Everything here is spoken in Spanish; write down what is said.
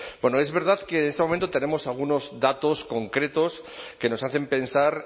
bueno es verdad que en este momento tenemos algunos datos concretos que nos hacen pensar